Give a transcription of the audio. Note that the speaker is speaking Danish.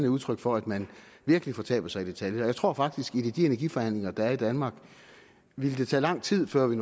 udtryk for at man virkelig fortaber sig i detaljer jeg tror faktisk at i de energiforhandlinger der er i danmark ville det tage lang tid før vi